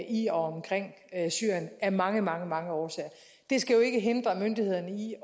i og omkring syrien af mange mange mange årsager det skal jo ikke hindre myndighederne i